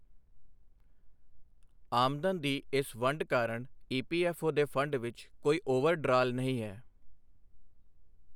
ਆਮਦਨ ਦੀ ਇਸ ਵੰਡ ਕਾਰਣ ਈਪੀਐਫਓ ਦੇ ਫ਼ੰਡ ਵਿਚ ਕੋਈ ਓਵਰ ਡਰਾਅਲ ਨਹੀਂ ਹੈ।